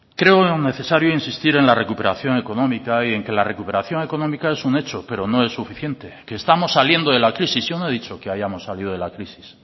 creo necesario insistir en la recuperación económica y en que la recuperación económica es un hecho pero no es suficiente que estamos saliendo de la crisis yo no he dicho que hayamos salido de la crisis